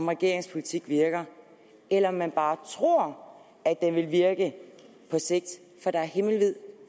regeringens politik virker eller om man bare tror at den vil virke på sigt for der er himmelvid